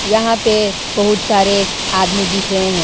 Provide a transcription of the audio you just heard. यहां पे बहुत सारे आदमी दिख रहे हैं।